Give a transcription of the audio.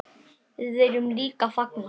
Við viljum líka fagna.